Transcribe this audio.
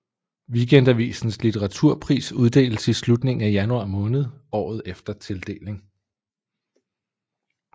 Weekendavisens litteraturpris uddeles i slutningen af januar måned året efter tildeling